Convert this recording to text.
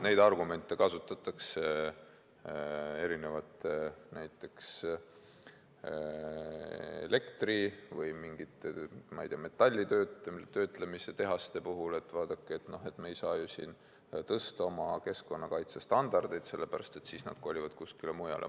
Neid argumente kasutatakse näiteks elektritootmise ja mingite metallitöötlemistehaste puhul: et vaadake, me ei saa siin tõsta oma keskkonnakaitse standardeid, sellepärast et siis tootmine kolitakse kuskile mujale.